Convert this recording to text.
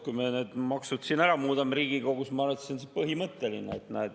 Kui me need maksud siin Riigikogus ära muudame, siis ma arvan, et see on põhimõtteline.